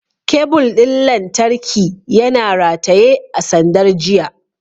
Kebul ɗin lantarki yana rataye a sandar jiya.